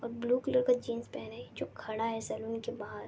और blue colour का jeans पहने जो खड़ा है सलून के बाहार।